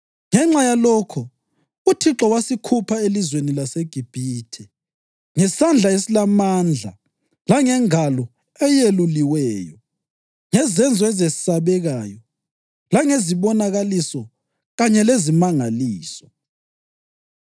Ngenxa yalokho uThixo wasikhupha elizweni laseGibhithe ngesandla esilamandla langengalo eyeluliweyo, ngezenzo ezesabekayo langezibonakaliso kanye lezimangaliso.